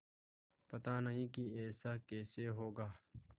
पता नहीं कि ऐसा कैसे होगा